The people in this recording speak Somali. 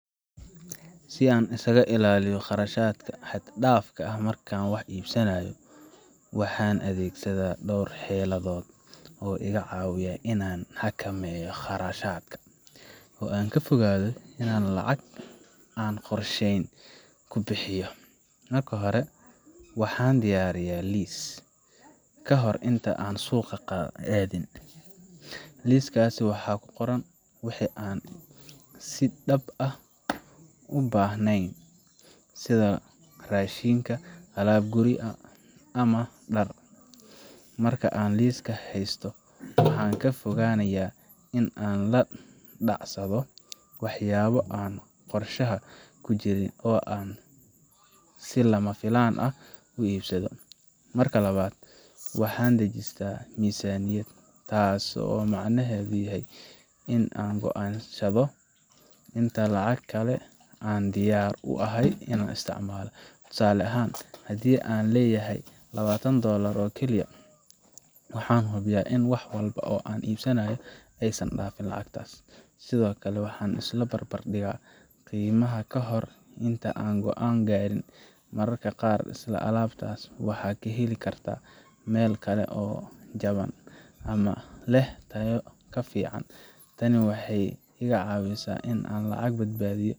Si aan iskaga ilaaliyo kharashaadka xad dhaafka ah marka aan wax iibsanayo, waxaan adeegsadaa dhowr xeeladood oo iga caawiya in aan xakameeyo qarashaadka, oo aan ka fogaado in aan lacag aan qorsheyn ku bixiyo: Marka hore, waxaan diyaariyaa liis ka hor inta aan suuqa aadin. Liiskaas waxa ku qoran wixii aan si dhab ah u baahanahay, sida raashin, alaab guri ama dhar. Marka aan liiskaas haysto, waxaan ka fogaanayaa in aan la dhacsado waxyaabo aan qorshaha ku jirin oo aan si lama filaan ah u iibsado. Marka labaad, waxaan dejistaa miisaaniyad, taasoo macnaheedu yahay in aan go’aansado inta lacag ah ee aan diyaar u ahay in aan isticmaalo. Tusaale ahaan, haddii aan leeyahay labatan dolar oo kaliya, waxaan hubiyaa in wax walba oo aan iibsanayo aysan dhaafin lacagtaas. Sidoo kale, waxaan isbarbardhigaa qiimaha ka hor inta aan go’aan gaarin. Mararka qaar, isla alaabtaas waxaad ka heli kartaa meel kale oo jaban ama leh tayo ka fiican. Tani waxay iga caawisaa in aan lacag badbaadiyo.